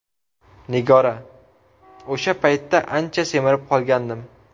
Nigora: O‘sha paytda ancha semirib qolgandim.